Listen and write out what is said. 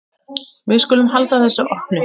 Við skulum halda þessu opnu.